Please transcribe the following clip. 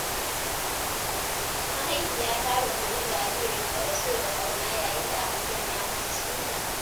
Mahaifiya ta rungumi jaririnta da so da ƙauna yayin da aka sanya masa suna.